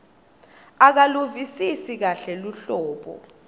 akaluvisisi kahle luhlobo